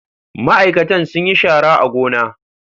Ma'aikatan sun yi shara a gona.